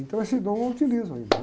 Então, esse dom eu utilizo ainda.